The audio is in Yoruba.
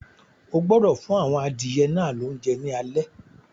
O gbọdọ̀ fún àwọn adìyẹ náà lóúnjẹ ní alé.